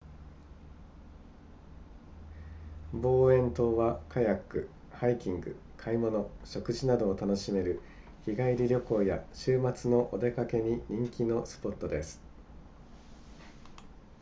ボーエン島はカヤックハイキング買い物食事などを楽しめる日帰り旅行や週末のお出かけに人気のスポットです